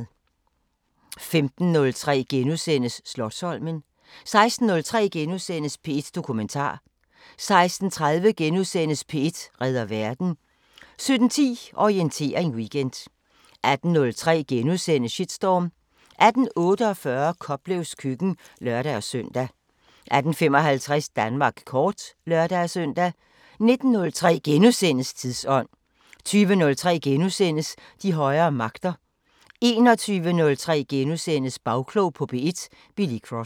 15:03: Slotsholmen * 16:03: P1 Dokumentar * 16:30: P1 redder verden * 17:10: Orientering Weekend 18:03: Shitstorm * 18:48: Koplevs køkken (lør-søn) 18:55: Danmark kort (lør-søn) 19:03: Tidsånd * 20:03: De højere magter * 21:03: Bagklog på P1: Billy Cross *